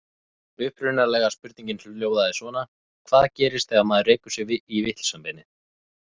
Upprunalega spurningin hljóðaði svona: Hvað gerist þegar maður rekur sig í vitlausa beinið?